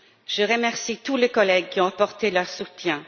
Je remercie tous les collègues qui ont apporté leur soutien.